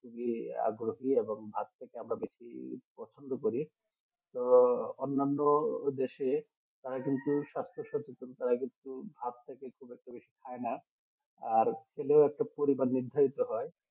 যে আগ্রহী আর যদি ভাত আমরা পছন্দ করি তো অন্যান্য দেশে তারা কিন্তু ভাত কিছু পরে কিছু খাই না আর খেলে পরিমাণে নির্ধারিত হয়